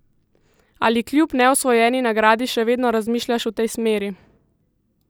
Ali kljub neosvojeni nagradi še vedno razmišljaš v tej smeri?